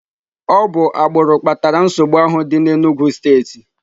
Ọ bụ agbụrụ kpatara nsogbu ahụ dị n'Enugwu steeti.